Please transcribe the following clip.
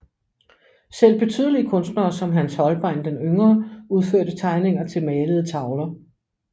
Selv betydelige kunstnere som Hans Holbein den yngre udførte tegninger til malede tavler